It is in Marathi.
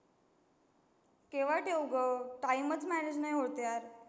केव्हा ठेऊ ग? time च Manage नाही होत यार.